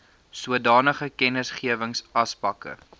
sodanige kennisgewings asbakke